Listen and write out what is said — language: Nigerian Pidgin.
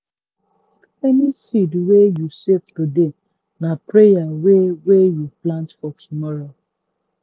any seed wey you save today na prayer wey wey you plant for tomorrow.